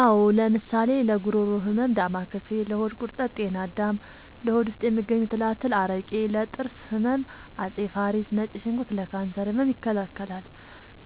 አዎ ለምሳሌ ለጉሮሮ ህመም ዳማከሴ ለሆድ ቁርጠት ጤና አዳም ለሆድ ውስጥ የሚገኙ ትላትል አረቄ ለጥርስ ህመም አፄ ፋሪስ ነጭ ሽንኩርት ለካንሰር ህመም ይከላከላል